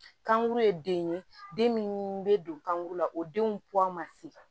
Kankuru ye den ye den min bɛ don kankuru la o denw ma se